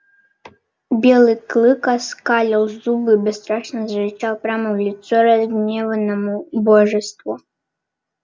белый клык оскалил зубы и бесстрашно зарычал прямо в лицо разгневанному божеству